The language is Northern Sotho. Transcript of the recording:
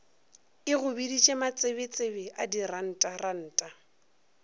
e go biditše matsebetsebe dirantaranta